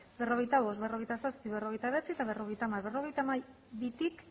berrogeita bost berrogeita zazpi berrogeita bederatzi eta berrogeita hamar berrogeita hamabitik